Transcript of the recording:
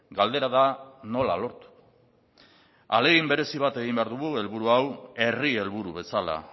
galdera da nola lortu ahalegin berezi bat egin behar dugu helburu hau herri helburu bezala